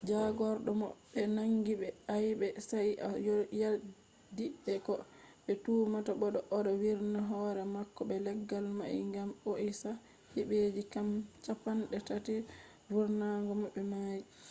jagordo mo be nangi be aibe sai o yaddi be ko be tumata mo do odo virna hore mako be leggal mai gam ohisa hibeji cappanatati vurnata mo be mai